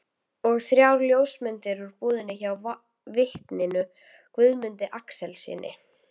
Og þrjár ljósmyndir úr búðinni hjá vitninu Guðmundi Axelssyni.